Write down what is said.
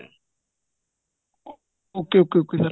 ok ok ok sir